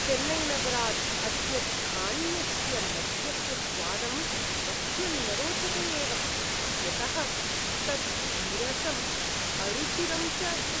चेन्नैनगरात् अस्य स्थानीयस्य मद्यस्य स्वादं मह्यं न रोचते एव, यतः तत् विरसम् अरुचिरं च अस्ति।